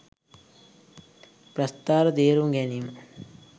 ප්‍රස්ථාර තේරුම් ගැනීම